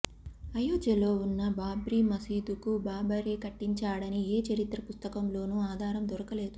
అయోధ్యలో వున్న బాబ్రీ మసీదును బాబరే కట్టించాడని ఏ చరిత్ర పుస్తకంలోనూ ఆధారం దొరకలేదు